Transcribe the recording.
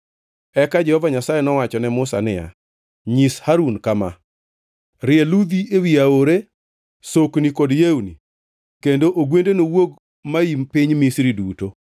Eka Jehova Nyasaye nowacho ne Musa niya; “Nyis Harun kama: ‘Rie ludhi ewi aore, sokni kod yewni, kendo ogwende nowuog maim piny Misri duto.’ ”